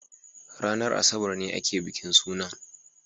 ranar Asabar ne ake bikin sunan.